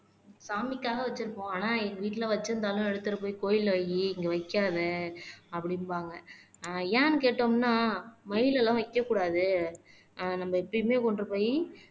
சாமிக்காக வச்சிருப்போம் ஆனா எங்க வீட்டுல வச்சிருந்தாலும் எடுத்துட்டு போய் கோயில்ல வையி இங்க வைக்காத அப்படிம்பாங்க ஆஹ் ஏன்னு கேட்டோம்ன்னா மயிலெல்லாம் வைக்கக்கூடாது உம் நம்ம எப்பயுமே கொண்டு போய்